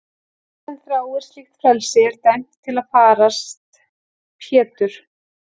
Fólk sem þráir slíkt frelsi er dæmt til að farast Pétur.